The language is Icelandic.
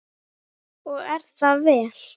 Og er það vel.